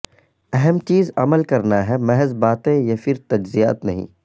اہم چیز عمل کرنا ہے محض باتیں یہ پھر تجزیات نہیں